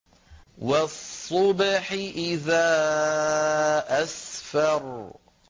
وَالصُّبْحِ إِذَا أَسْفَرَ